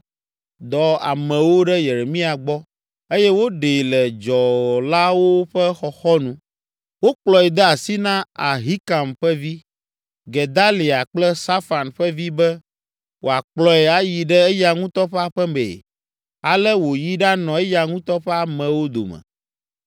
dɔ amewo ɖe Yeremia gbɔ, eye woɖee le dzɔlawo ƒe xɔxɔnu. Wokplɔe de asi na Ahikam ƒe vi, Gedalia kple Safan ƒe vi be wòakplɔe ayi ɖe eya ŋutɔ ƒe aƒe mee. Ale wòyi ɖanɔ eya ŋutɔ ƒe amewo dome.